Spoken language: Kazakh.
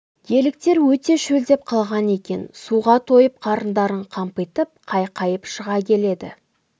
еліктер өте шөлдеп қалған екен суға тойып қарындарын қампитып қайқайып шыға келеді